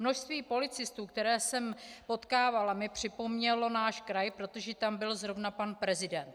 Množství policistů, které jsem potkávala, mi připomnělo náš kraj, protože tam byl zrovna pan prezident.